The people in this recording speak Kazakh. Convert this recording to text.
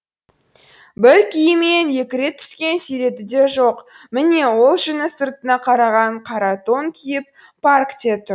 бір киіммен екі рет түскен суреті де жоқ міне ол жүні сыртына қараған қара тон киіп паркте тұр